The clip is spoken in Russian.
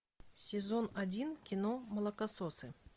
сезон один кино молокососы